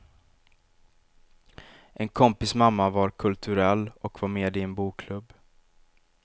En kompis mamma var kulturell och var med i en bokklubb.